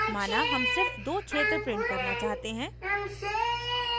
माना हम सिर्फ दो क्षेत्र print करना चाहते हैं